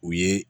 U ye